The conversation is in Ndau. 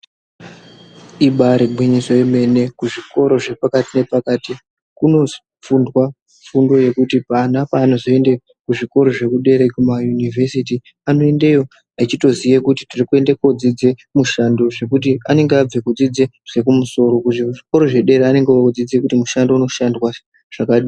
Ibari gwinyiso yemene kuzvikora zvepakati nepakati kunofundwa fundo yekuti vana pavanozoende kuzvikora zvekudera Kuma yunivhesiti anoendeyo achitoziye kuti tiri kuenda kodzidza mishando zvekuti anenge abve kudzidza zvekumusoro, kuzvikora zvedera anenge odzidza kuti mushando unoshandwa sei.